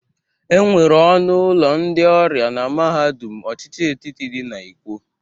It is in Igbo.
E nwere ọnụ ụlọ ndị ọrịa na mahadum ọchịchị etiti dị na Ikwo.